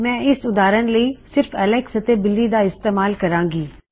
ਮੈਂ ਇਸ ਉਦਾਰਨ ਲਈ ਸਿਰਫ ਐੱਲਕਸ ਅਤੇ ਬਿਲੀ ਦਾ ਇਸਤੇਮਾਲ ਕਰਾੰ ਗੀ